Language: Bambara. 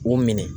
U minɛ